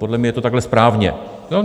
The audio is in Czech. Podle mne je to takhle správně.